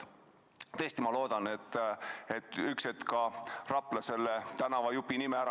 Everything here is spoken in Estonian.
Tõesti loodan, et ühel hetkel muudab Rapla selle tänavajupi nime ära.